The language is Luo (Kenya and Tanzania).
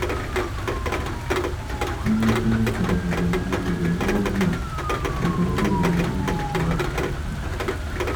Ne otemo kar nyalone mondo riwruogno odoj e romo mogik mar tuke.